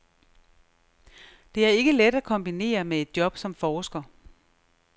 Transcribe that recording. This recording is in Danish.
Det er ikke let at kombinere med et job som forsker.